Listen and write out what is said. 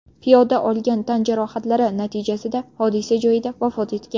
Piyoda olgan tan jarohatlari natijasida hodisa joyida vafot etgan.